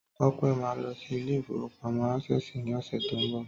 Tọ́pẹ́ máa lọ sí Ilé-ìfowópamó ásèsì ní ọ̀sẹ̀ tí ó ń bọ̀